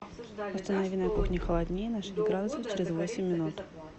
установи на кухне холоднее на шесть градусов через восемь минут